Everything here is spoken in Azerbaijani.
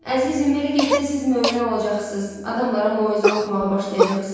Əzizim, belə getsə siz mömin olacaqsız, adamlara moizə oxumağa başlayacaqsız.